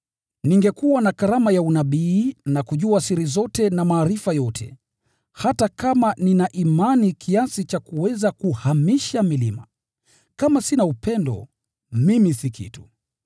Ningekuwa na karama ya unabii na kujua siri zote na maarifa yote, hata kama nina imani kiasi cha kuweza kuhamisha milima, kama sina upendo, mimi si kitu.